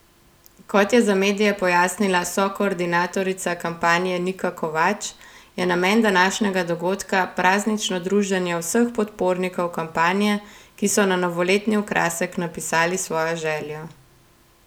Kot je za medije pojasnila sokoordinatorica kampanje Nika Kovač, je namen današnjega dogodka praznično druženje vseh podpornikov kampanje, ki so na novoletni okrasek napisali svojo željo.